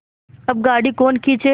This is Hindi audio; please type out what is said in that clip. अब गाड़ी कौन खींचे